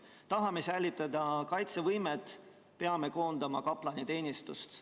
Kui tahame säilitada kaitsevõimet, siis peame koondama kaplanteenistuse.